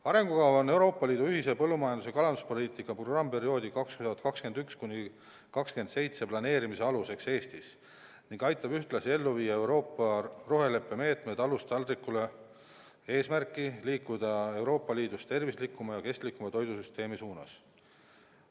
Arengukava on Euroopa Liidu ühise põllumajandus- ja kalanduspoliitika programmiperioodi 2021–2027 planeerimise aluseks Eestis ning aitab ühtlasi ellu viia Euroopa roheleppe meetme "Talust taldrikule" eesmärki liikuda Euroopa Liidus tervislikuma ja kestlikuma toidusüsteemi suunas.